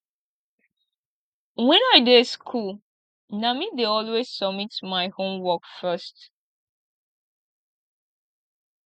wen i dey school na me dey always submit my homework first